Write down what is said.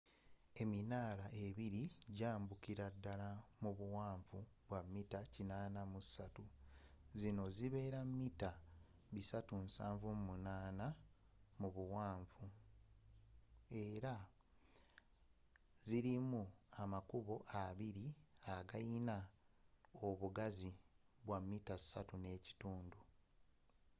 eminaala ebiri gyambukira ddala mu buwanvu bwa mita 83 zino zibeera mita 378 mu buwanvu era zirimu amakubo abiri agayina obugazi bwa 3.50 m